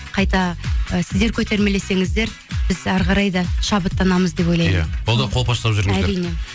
қайта і сіздер көтермелесіңіздер біз әрі қарай да шабыттанамыз деп ойлаймын иә қолдап қолпаштап жүріңіздер әрине